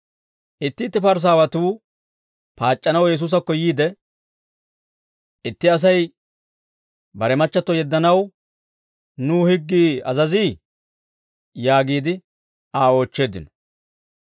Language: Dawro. Itti itti Parisaawatuu paac'c'anaw Yesuusakko yiide, «Itti Asay bare machchatto yeddanaw nuw higgii azazii?» yaagiide Aa oochcheeddino.